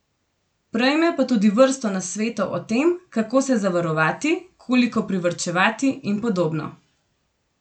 Prejme pa tudi vrsto nasvetov o tem, kako se zavarovati, koliko privarčevati in podobno.